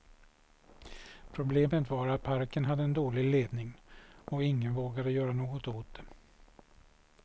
Problemet var att parken hade en dålig ledning och ingen vågade göra något åt det.